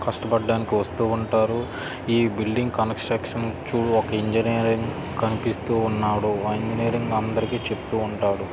కష్టపడ్డానికి వస్తూ ఉంటారు. ఈ బిల్డింగ్ కన్స్ట్రక్షన్ చూడు ఒక ఇంజనీర్ కనిపిస్తూ ఉన్నాడు. ఆ ఇంజనీర్ అందరికి చెప్తూ ఉంటాడు.